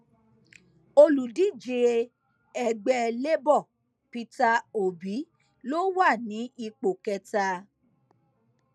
olùdíje ẹgbẹ labour peter obi ló wà ní ipò kẹta